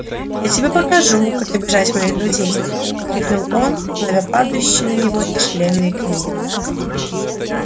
я тебе покажу как обижать моих друзей крикнул он ловя падающие на него тяжеленные книги